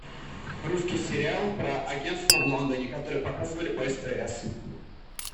русский сериал про агентство в лондоне который показывали по стс